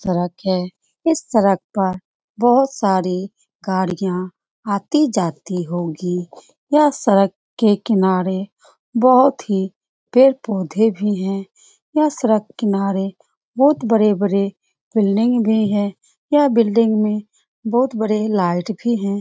सड़क है। इस सड़क पर बहुत सारी गाड़ियाँ आती जाती होगी। यह सड़क के किनारे बहुत ही पेड़-पौधे भी हैं। यह सड़क किनारे बहुत बड़े-बड़े बिल्डिंग भी है। यह बिल्डिंग में बहुत बड़े लाइट भी हैं।